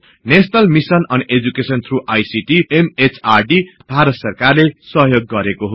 national mission on education through ICT MHRD government of ईन्डियाले सहयोग गरेको हो